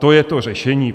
To je to řešení.